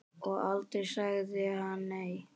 Og aldrei sagði hann nei.